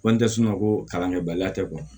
Ko n tɛ sunɔgɔ ko kalankɛbaliya tɛ